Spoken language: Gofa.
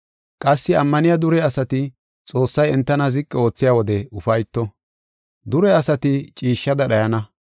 Qassi ammaniya dure asati Xoossay entana ziqi oothiya wode ufayto. Dure asati ciishshada dhayana.